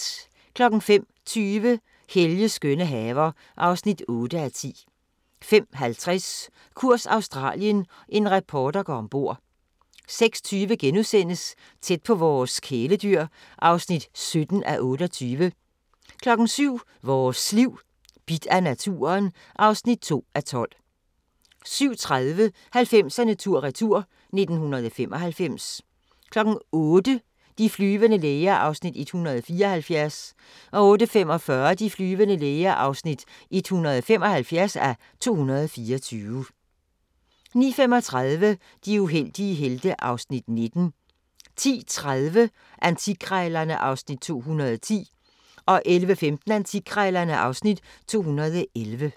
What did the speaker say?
05:20: Helges skønne haver (8:10) 05:50: Kurs Australien – en reporter går ombord 06:20: Tæt på vores kæledyr (17:28)* 07:00: Vores Liv: Bidt af naturen (2:12) 07:30: 90'erne tur-retur: 1995 08:00: De flyvende læger (174:224) 08:45: De flyvende læger (175:224) 09:35: De uheldige helte (Afs. 19) 10:30: Antikkrejlerne (Afs. 210) 11:15: Antikkrejlerne (Afs. 211)